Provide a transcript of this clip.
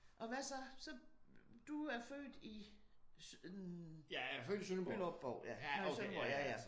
Og hvad så så? Du er født i Bylderup-Bov nede i Sønderborg ja ja?